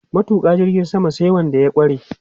Tuƙa jirgin sama sai wanda ya ƙware.